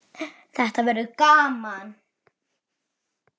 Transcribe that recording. Þetta verður gaman.